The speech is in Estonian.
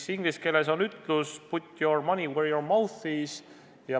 Inglise keeles on ütlus "put your money where your mouth is".